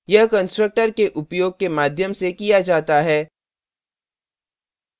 यह constructor के उपयोग के माध्यम से किया जाता है